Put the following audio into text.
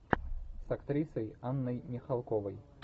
с актрисой анной михалковой